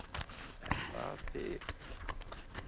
Er það til?